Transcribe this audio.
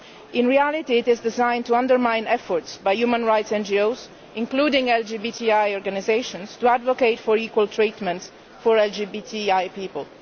In reality, it is designed to undermine efforts by human rights NGOs, including LGBTI organisations, to advocate equal treatment for LGBTI people.